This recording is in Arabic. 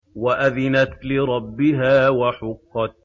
وَأَذِنَتْ لِرَبِّهَا وَحُقَّتْ